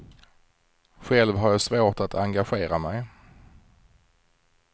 Själv har jag svårt att engagera mig.